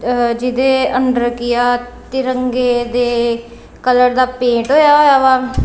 ਜਿਦ੍ਹੇ ਅੰਦਰ ਕੀ ਆ ਤਿਰੰਗੇ ਦੇ ਕਲਰ ਦਾ ਪੇਂਟ ਹੋਇਆ ਹੋਇਆ ਵਾ।